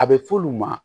A bɛ f'olu ma